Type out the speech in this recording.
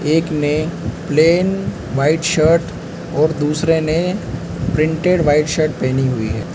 एक ने plain white shirt और दूसरे ने प्रिंटेड वाइट शर्ट पहनी हुई है।